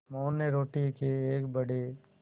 मोहन ने रोटी के एक बड़े